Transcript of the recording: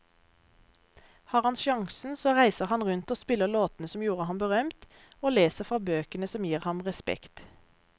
Har han sjansen så reiser han rundt og spiller låtene som gjorde ham berømt, og leser fra bøkene som gir ham respekt.